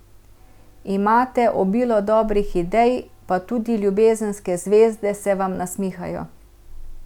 Imate obilo dobrih idej, pa tudi ljubezenske zvezde se vam nasmihajo.